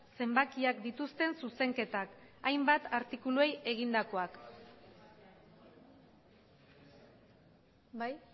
zenbakiak dituzten zuzenketak hainbat artikuluei egindakoak bai